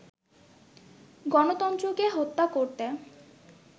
গণতন্ত্রকে হত্যা করতে